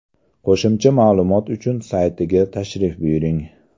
Qo‘shimcha ma’lumot uchun saytiga tashrif buyuring.